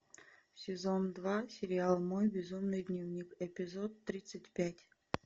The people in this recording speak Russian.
сезон два сериал мой безумный дневник эпизод тридцать пять